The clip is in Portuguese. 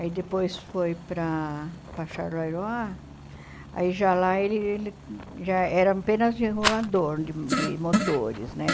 Aí depois foi para para Charleroi, aí já lá ele ele já era apenas regulador de de motores, né?